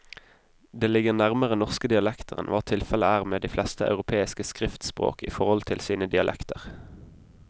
Det ligger nærmere norske dialekter enn hva tilfellet er med de fleste europeiske skriftspråk i forhold til sine dialekter.